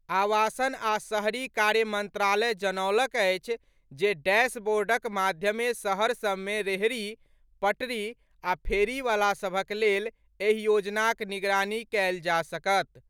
आवासन आ सहरी कार्य मंत्रालय जनौलक अछि, जे डैशबोर्डक माध्यमे शहर सभमे रेहड़ी, पटरी आ फेरीवलासभक लेल एहि योजनाक निगरानी कयल जा सकत।